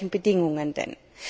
Ja, zu welchen Bedingungen denn?